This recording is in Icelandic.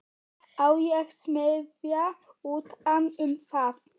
Á ég að smíða utan um það?